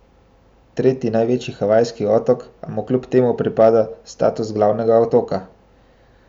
Tretji največji havajski otok, a mu kljub temu pripada status glavnega otoka.